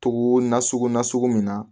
Togo na sugu nasugu min na